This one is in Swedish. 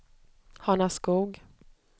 Hanaskog